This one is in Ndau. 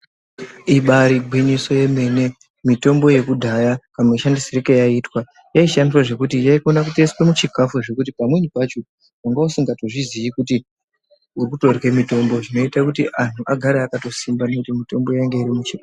Ibari gwinyiso yemene mitombo yakudhaya kamushandisire kayaiita yaishandiswa zvekuti yaikona kutoiswa muchikafu zvekuti pamweni pacho vangausingatozviziyi kuti urikutorye mitombo. Zvinote kuti antu agare akatosimba ngekuti mitombo yangairi muchikafu.